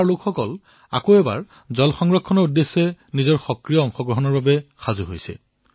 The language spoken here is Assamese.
তাৰে জনতাই পুনৰবাৰ পানী সংৰক্ষণৰ বাবে নিজৰ সক্ৰিয় ভূমিকা পালনৰ বাবে প্ৰস্তুত হৈছে